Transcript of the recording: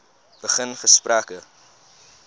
begin gesprekke